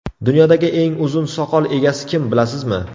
Dunyodagi eng uzun soqol egasi kim bilasizmi?